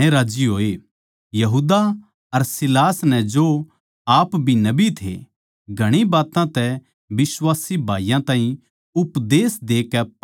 यहूदा अर सीलास नै जो आप भी नबी थे घणी बात्तां तै बिश्वासी भाईयाँ ताहीं उपदेश देकै पक्का करया